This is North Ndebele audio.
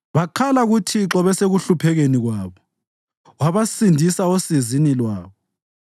Bakhala kuThixo besekuhluphekeni kwabo, wabasindisa osizini lwabo.